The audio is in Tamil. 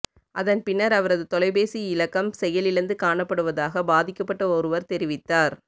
அதன் பின்னர் அவரது தொலைபேசி இலக்கம் செயலிழந்து காணப்படுவதாக பாதிக்கபட்ட ஒருவர் தெரிவித்தார்